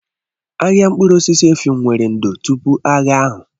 Ahịa mkpụrụ osisi Effium nwere ndò tupu agha ahụ.